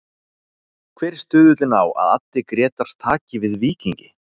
Hver er stuðullinn á að Addi Grétars taki við Víkingi?